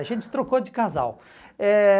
A gente trocou de casal. Eh